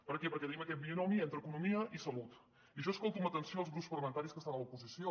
per què perquè tenim aquest binomi entre economia i salut i jo escolto amb atenció els grups parlamentaris que estan a l’oposició